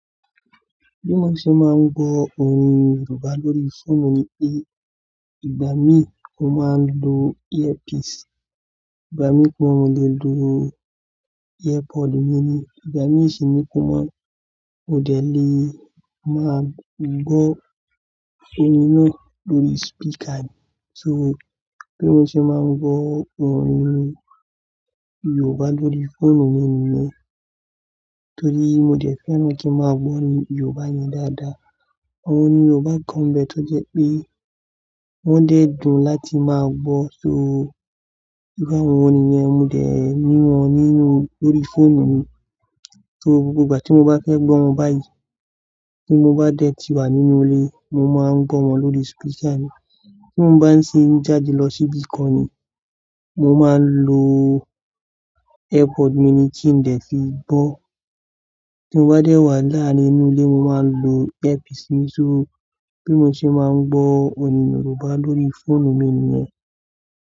Bí mo ṣe máa ń gbọ́ orin Yorùbá lórí fóònù mi ni pé, ìgbà mí mo máa ń lo earpiece. Ìgbà mí pe mọ lè lo airpod mi ni. Ìgbà mí sì ní kó mọ́, mo dẹ̀ lé máa gbọ́ orin náà lórí speaker. So bí mo ṣe máa ń gbọ́ orin Yorùbá lórí fóònù mi ni. Nítorí mo dẹ̀ fẹ́ràn kí n máa gbọ́ orin Yorùbá yẹn dáadáa. Àwọn orin Yorùbá kan bẹ tó jẹ́ pé wọ́n dẹ́ dun láti máa gbọ́, so bí àwọn orin yẹn, mo dẹ̀ ní wọn nínú-- lórí fóònù mi. So gbogbo ìgbà tí mo bá fẹ́ gbọ́ wọn báyìí, tí mo bá dẹ̀ ti wà nínú ilé, mo máa ń gbọ́ wọn lórí agbọrọsọ mi. Tí mo bá ń ṣe ń jáde lọ síbí kan ni, mo máa ń lo ẹrọ ohun agbekari mi ni kí n lè fi gbọ́. Tí mo bá dẹ̀ wà láàárin ilé, mo máa ń lo afikọti. So bí mo ṣe máa ń gbọ́ orin Yorùbá lórí fóònù mi ni ẹ.